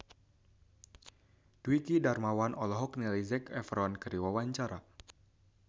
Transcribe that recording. Dwiki Darmawan olohok ningali Zac Efron keur diwawancara